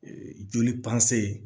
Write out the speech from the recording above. Ee joli